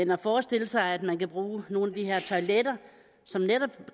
man forestiller sig at man kan bruge nogle af de her toiletter